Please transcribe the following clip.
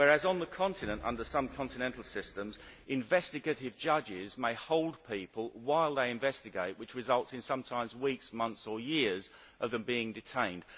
Whereas under some continental systems investigative judges may hold people while they investigate, which results in sometimes weeks, months or years of them being detained.